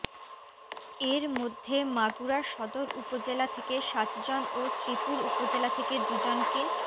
এর মধ্যে মাগুরা সদর উপজেলা থেকে সাতজন ও শ্রীপুর উপজেলা থেকে দুজনকে